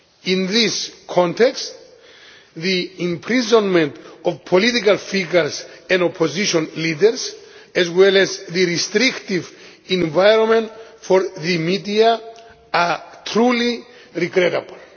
In this context, the imprisonment of political figures and opposition leaders, as well as the restrictive environment for the media, are truly regrettable.